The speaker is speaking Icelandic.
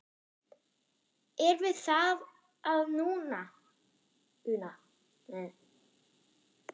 Er við það að una?